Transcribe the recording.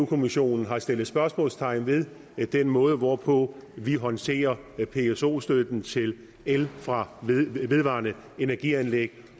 kommissionen har stillet spørgsmålstegn ved den måde hvorpå vi håndterer pso støtten til el fra vedvarende energi anlæg